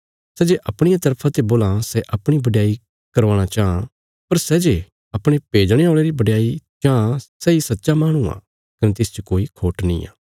सै जे अपणिया तरफा ते बोलां सै अपणी बडयाई करवाणा चाँह पर सै जे अपणे भेजणे औल़े री बडयाई चांह सैई सच्चा माहणु आ कने तिसच कोई खोट निआं